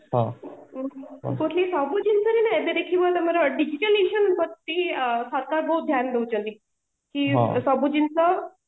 ମୁଁ କହୁଥିଲି ସବୁ ଜିନିଷ ରେ ନା ଏବେ ଦେଖିବ ତମର digital ପ୍ରତି ସରକାର ବହୁତ ଧ୍ୟାନ ଦୋଉଛନ୍ତି କି ସବୁ ଜିନିଷ